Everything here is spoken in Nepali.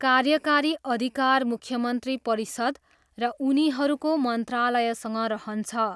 कार्यकारी अधिकार मुख्यमन्त्री परिषद र उनीहरूको मन्त्रालयसँग रहन्छ।